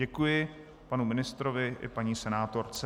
Děkuji panu ministrovi i paní senátorce.